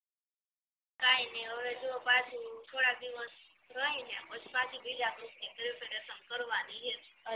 કઈ નઇ હવે જો પાછું થોડા દિવસ રય ને પછી પાછી બીજા ગ્રુપ ની પ્રેપરેસન કરવાની હે